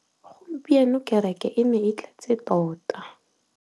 Gompieno kêrêkê e ne e tletse tota.